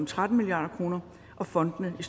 tretten milliard kroner og fondene i